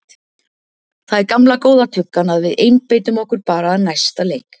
Það er gamla góða tuggan að við einbeitum okkur bara að næsta leik.